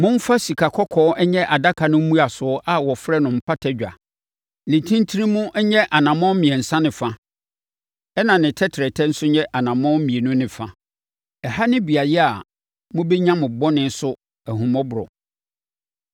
“Momfa sikakɔkɔɔ nyɛ adaka no mmuasoɔ a wɔfrɛ no Mpata Dwa. Ne ntentenemu yɛ anammɔn mmiɛnsa ne fa, ɛnna ne tɛtrɛtɛ nso yɛ anammɔn mmienu ne fa. Ɛha ne beaeɛ a mobɛnya mo bɔne so ahummɔborɔ.